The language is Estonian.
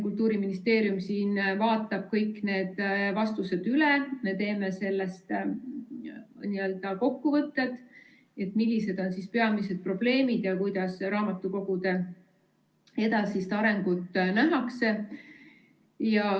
Kultuuriministeerium vaatab kõik need vastused üle, me teeme nendest ka kokkuvõtted, millised on peamised probleemid ja kuidas raamatukogude edasist arengut nähakse.